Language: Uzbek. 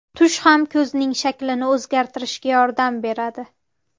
Tush ham ko‘zning shaklini o‘zgartirishga yordam beradi.